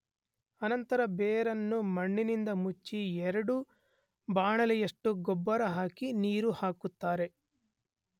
ಅನಂತರ ಬೇರನ್ನು ಮಣ್ಣಿನಿಂದ ಮುಚ್ಚಿ ಎರಡು ಬಾಣಲೆಯಷ್ಟು ಗೊಬ್ಬರ ಹಾಕಿ ನೀರು ಹಾಕುತ್ತಾರೆ.